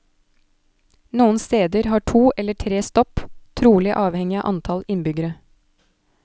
Noen steder har to eller tre stopp, trolig avhengig av antall innbyggere.